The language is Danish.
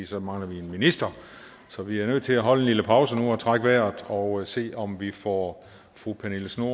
så mangler vi en minister så vi er nødt til at holde en lille pause nu og trække vejret og se om vi får fru pernille schnoor